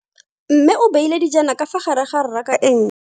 Mme o beile dijana ka fa gare ga raka e ntšha.